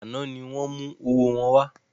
Àná ni wọn mú owó wọn wá